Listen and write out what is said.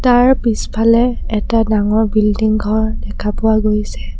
তাৰ পিছফালে এটা ডাঙৰ বিল্ডিং ঘৰ দখা পোৱা গৈছে।